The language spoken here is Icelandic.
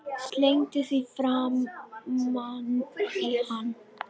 Slengdi því framan í hann.